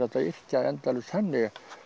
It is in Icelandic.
yrkja endalaust þannig